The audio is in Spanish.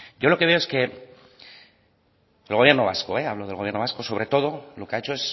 yo lo que veo es que el gobierno vasco hablo del gobierno vasco sobre todo lo que ha hecho